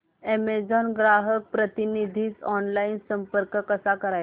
Amazon ग्राहक प्रतिनिधीस online संपर्क कसा करायचा